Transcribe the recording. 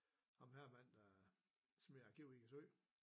Ham her manden der smed arkivet i en sø